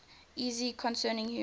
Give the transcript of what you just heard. essay concerning human